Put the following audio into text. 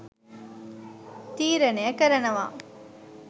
තීරණය කරනව.